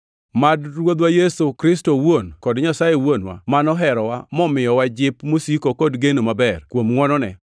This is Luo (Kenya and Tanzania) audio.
Mad Ruodhwa Yesu Kristo owuon kod Nyasaye Wuonwa, ma noherowa momiyowa jip mosiko kod geno maber, kuom ngʼwonone,